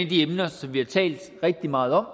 de emner som vi har talt rigtig meget om